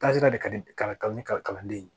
Taasira de ka di kalanden ye